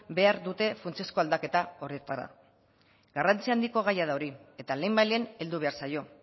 behar dute funtsezko aldaketa horretara garrantzi handiko gaia da hori eta lehenbailehen heldu behar zaio